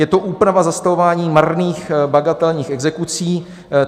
Je to úprava zastavování marných bagatelních exekucí.